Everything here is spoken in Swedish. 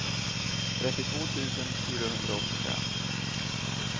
trettiotvå tusen fyrahundraåttiofem